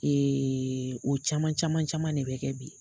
o caman caman caman ne bɛ kɛ bi.